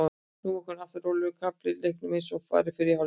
Nú kom aftur rólegur kafli í leiknum eins og var í fyrri hálfleik.